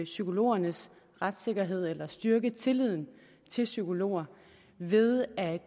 psykologernes retssikkerhed eller styrke tilliden til psykologer ved at